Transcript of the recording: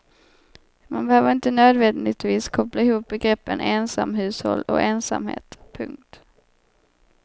Man behöver inte nödvändigtvis koppla ihop begreppen ensamhushåll och ensamhet. punkt